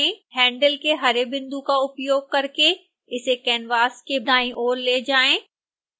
handle के हरे बिंदु का उपयोग करके इसे canvas के दाईं ओर ले जाएं